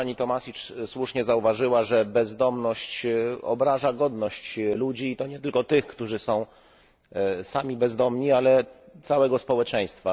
Pani Tomašić słusznie zauważyła, że bezdomność obraża godność ludzi i to nie tylko tych, którzy są sami bezdomni, ale całego społeczeństwa.